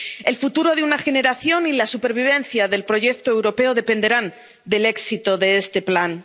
El futuro de una generación y la supervivencia del proyecto europeo dependerán del éxito de este plan.